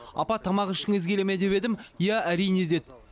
апа тамақ ішкіңіз келе ме деп едім иә әрине деді